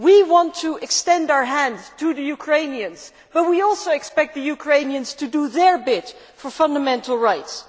We want to extend our hand to the Ukrainians but we also expect the Ukrainians to do their bit for fundamental rights.